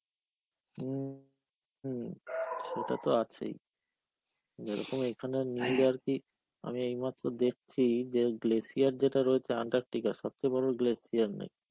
হম, হম সেটাতো আছেই. যেরকম এখানে আমি এইমাত্র দেখছি, যে glacier যেটা রয়েছে Antarctica সবচে বড় glacier নাকি